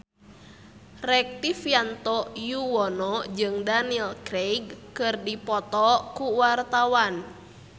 Rektivianto Yoewono jeung Daniel Craig keur dipoto ku wartawan